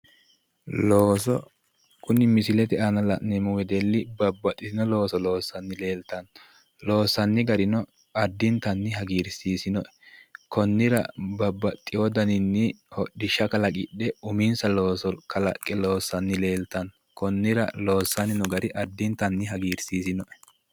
Looso, kuni misilete aana la'neemmo wedelli babbaxxino looso loossanni leeltanno loossanni garino addintanni hagirsiisanno"e konnira babbaxxeyo daninni hodhishsha kalaqidhe uminsa looso kalaqqe loossanni leeltanno konnira loossanni no gari addintanni hagirsiisino"e.